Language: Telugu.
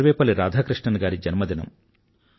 సర్వేపల్లి రాధాకృష్ణన్ గారి జన్మదినం